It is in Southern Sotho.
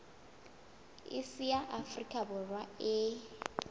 iss ya afrika borwa e